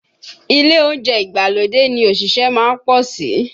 Ilé oúnjẹ ìgbàlódé ni òṣìṣẹ́ má ń pọ̀ sí